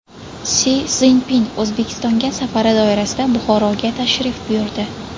Si Szinpin O‘zbekistonga safari doirasida Buxoroga tashrif buyurdi.